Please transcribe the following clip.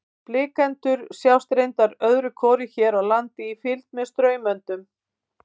Blikendur sjást reyndar öðru hvoru hér á landi í fylgd með straumöndum.